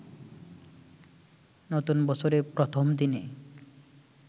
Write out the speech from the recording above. নতুন বছরের প্রথম দিনে